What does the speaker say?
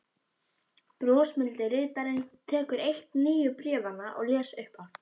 Brosmildi ritarinn tekur eitt nýju bréfanna og les upphátt: